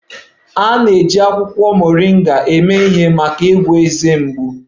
A na-eji akwụkwọ Moringa eme ihe maka ịgwọ ezé mgbu